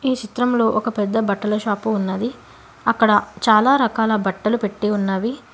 ఈ చిత్రం లో ఒక పెద్ద బట్టల షాపు ఉన్నది అక్కడ చాలా రకాల బట్టలు పెట్టి ఉన్నవి.